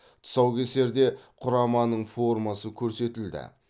тұсаукесерде құраманың формасы көрсетілді